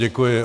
Děkuji.